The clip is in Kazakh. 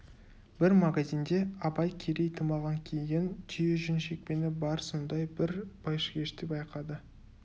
бір магазинде абай керей тымағын киген түйе жүн шекпені бар сондай бір байшыгешті байқады